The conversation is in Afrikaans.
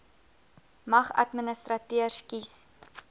mag administrateurders kies